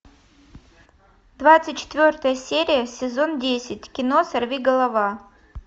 двадцать четвертая серия сезон десять кино сорвиголова